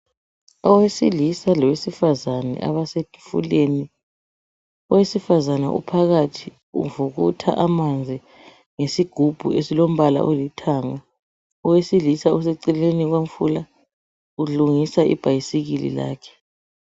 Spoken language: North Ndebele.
Owesilisa lowesifazane abasesifuleni. Owesifazana uphakathi uvukutha amanzi ngesigubhu esilombala olithanga. Owesilisa useceleni komfula ulungisa ibhayisikili lakhe.